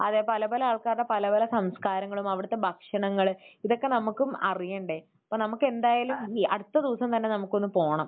അതെ. പല പല ആൾക്കാരുടെ പല പല സംസ്കാരങ്ങളും അവിടുത്തെ ഭക്ഷണങ്ങൾ. ഇതൊക്കെ നമുക്കും അറിയണ്ടേ. അപ്പോൾ നമുക്കെന്തായാലും അടുത്ത ദിവസം തന്നെ നമുക്ക് ഒന്ന് പോണം.